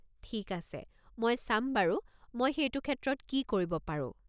ঠিক আছে, মই চাম বাৰু মই সেইটো ক্ষেত্ৰত কি কৰিব পাৰো।